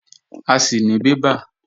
A sì ní bébà